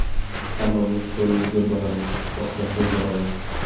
Hammamiz to‘ylarga boramiz, oshlarga boramiz.